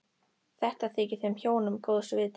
Þetta þykir þeim hjónum góðs viti.